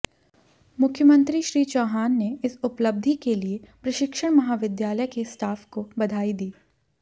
मुख्यमंत्री श्री चौहान ने इस उपलब्धि के लिये प्रशिक्षण महाविद्यालय के स्टाफ को बधाई दी